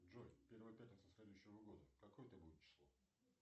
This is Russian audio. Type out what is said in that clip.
джой первая пятница следующего года какое это будет число